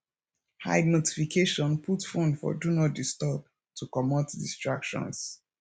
hide notification put phone for do not disturb to comot distractions